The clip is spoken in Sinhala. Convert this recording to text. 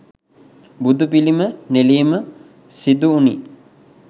බුදුපිළිම නෙලීම සිදුවුණි.